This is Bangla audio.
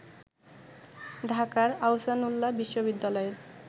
ঢাকার আহসানউল্লাহ বিশ্ববিদ্যালয়ের